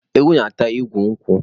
Ewu na-ata igu nkwụ.